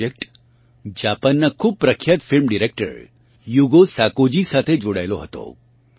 આ પ્રોજેક્ટ જાપાનનાં ખૂબ પ્રખ્યાત ફિલ્મ ડિરેક્ટર યુગો સાકોજી સાથે જોડાયેલો હતો